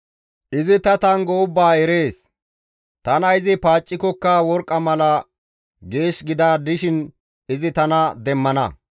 Izi ta tanggo ubbaa erees; tana izi paaccikokka tani worqqa mala geesh gida dishin izi tana demmana.